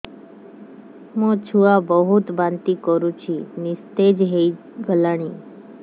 ମୋ ଛୁଆ ବହୁତ୍ ବାନ୍ତି କରୁଛି ନିସ୍ତେଜ ହେଇ ଗଲାନି